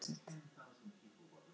Vegrið sannaði gildi sitt